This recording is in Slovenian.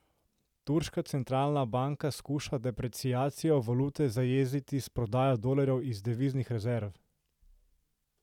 Turška centralna banka skuša depreciacijo valute zajeziti s prodajo dolarjev iz deviznih rezerv.